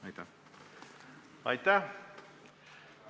Aitäh!